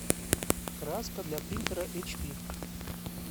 краска для принтера эйч пи